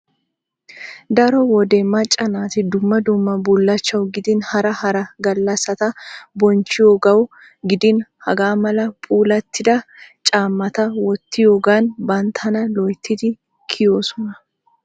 Daro wode macca naati dumma dumma bullachchawu gidin hara hara gallasata bonchchiyogawu gidin hagaamala puulattida caammata wottiyoogan banttana loyittidi kiyoososna.